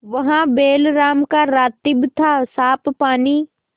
वहाँ बैलराम का रातिब थासाफ पानी